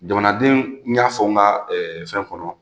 Jamanadenw n y'a fɔ n ka fɛn kɔnɔ.